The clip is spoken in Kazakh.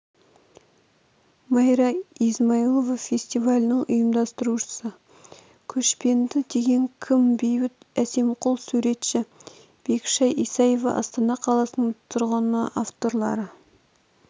майра измайлова фестивалінің ұйымдастырушысы көшпенді деген кім бейбіт әсемқұл суретші бекішай исаева астана қаласының тұрғыны авторлары